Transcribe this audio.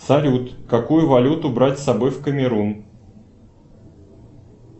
салют какую валюту брать с собой в камерун